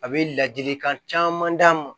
A bɛ ladilikan caman d'a ma